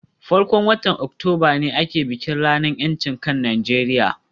farkon watan Oktoba ne ake bikin ranar ‘yancin kan Najeriya